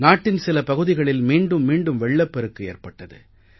நாட்டின் சில பகுதிகளில் மீண்டும் மீண்டும் வெள்ளப்பெருக்கு ஏற்பட்டது